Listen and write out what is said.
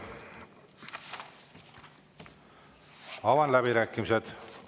Avan läbirääkimised.